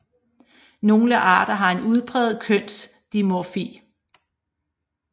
Nogle arter har en udpræget kønsdimorfi